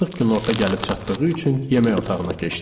Artıq günorta gəlib çatdığı üçün yemək otağına keçdik.